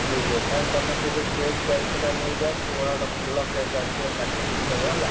ଠିକ୍ ଅଛି ତାହେଲେ ତମେ ସେ ଯୋଉ cake ଦାୟିତ୍ବ ଟା ନେଇଯାଅ, କୁହ ଗୋଟେ ଭଲ cake ଟାଏ ଆସିବ କାଟି କୁଟି ଦବ ହେଲା।